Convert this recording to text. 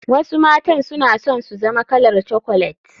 Wasu matan suna son su zama kalar chocolet.